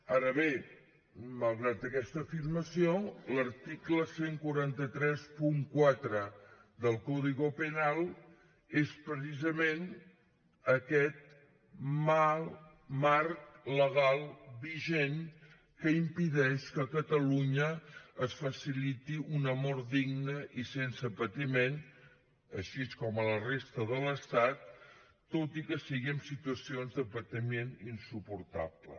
ara bé malgrat aquesta afirmació l’article catorze trenta quatre del código penal és precisament aquest marc legal vigent que impedeix que a catalunya es faciliti una mort digna i sense patiment així com a la resta de l’estat tot i que sigui en situacions de patiment insuportable